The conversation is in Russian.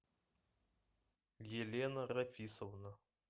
елена рафисовна